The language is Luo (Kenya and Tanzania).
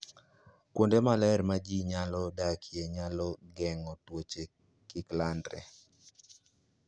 Kuonde maler ma ji nyalo dakie, nyalo geng'o tuoche kik landre.